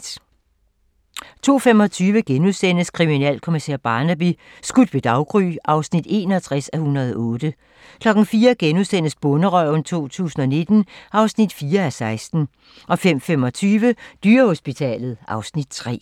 02:25: Kriminalkommissær Barnaby: Skudt ved daggry (61:108)* 04:00: Bonderøven 2019 (4:16)* 05:25: Dyrehospitalet (Afs. 3)